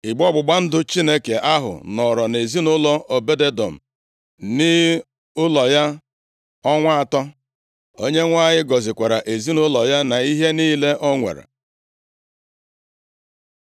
Igbe ọgbụgba ndụ Chineke ahụ nọrọ nʼezinaụlọ Obed-Edọm nʼụlọ ya ọnwa atọ. Onyenwe anyị gọzikwara ezinaụlọ ya na ihe niile o nwere.